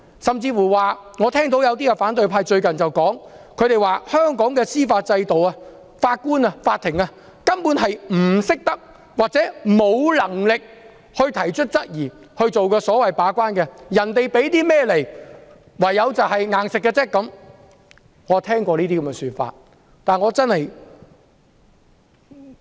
甚至有反對派議員最近說，在香港的司法制度下，法官、法庭根本不懂得或沒能力提出質疑，進行把關，只能全盤接受請求方提供的所有文件。